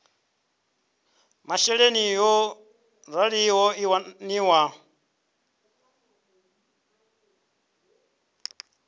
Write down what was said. masheleni yo raliho i waniwa